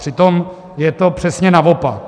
Přitom je to přesně naopak.